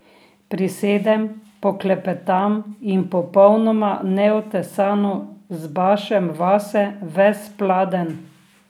Prisedem, poklepetam in popolnoma neotesano zbašem vase ves pladenj.